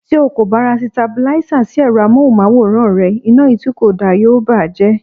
Tí o kò bá ra Sitabílísà sí èrọ amóhùnmáwòrán rẹ, iná yìí tí kò da yóò bàa jẹ́.